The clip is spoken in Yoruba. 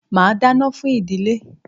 Màá dáná fún ìdílé.